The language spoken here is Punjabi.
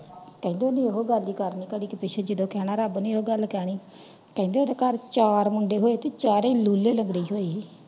ਕਹਿੰਦੇ ਨੇ ਓਹਨੇ ਇਹੋ ਗੱਲ ਹੀ ਕਰਨੀ ਕਹਿੰਦੇ ਓਹਦੇ ਘਰ ਚਾਰ ਮੁੰਡੇ ਹੋਏ ਤੇ ਚਾਰੋ ਹੀ ਲੂਲੇ ਲੱਗਦੇ ਹੀ ਹੋਏ।